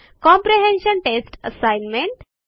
comprehension test assignment